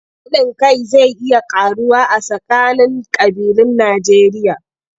Haɗin kai zai iya ƙaruwa a tsakanin ƙabilun Najjeriya.